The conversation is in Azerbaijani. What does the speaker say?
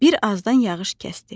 Bir azdan yağış kəsdi.